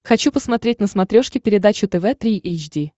хочу посмотреть на смотрешке передачу тв три эйч ди